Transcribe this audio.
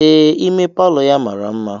Ee ime Palọ ya mara mma.